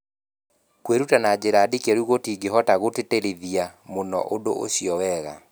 Kwĩruta na njĩra ndikĩru tũtingĩhotagũtĩtĩrithia mũno ũndũ ũcio wega.